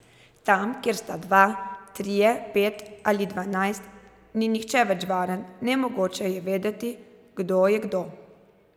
Tam, kjer sta dva, trije, pet ali dvanajst, ni nihče več varen, nemogoče je vedeti, kdo je kdo.